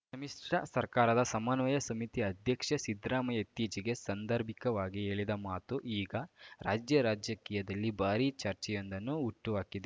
ಸಮ್ಮಿಶ್ರ ಸರ್ಕಾರದ ಸಮನ್ವಯ ಸಮಿತಿ ಅಧ್ಯಕ್ಷ ಸಿದ್ದರಾಮಯ್ಯ ಇತ್ತೀಚೆಗೆ ಸಂದರ್ಭಿಕವಾಗಿ ಹೇಳಿದ ಮಾತು ಈಗ ರಾಜ್ಯ ರಾಜಕೀಯದಲ್ಲಿ ಭಾರೀ ಚರ್ಚೆಯೊಂದನ್ನು ಹುಟ್ಟುಹಾಕಿದೆ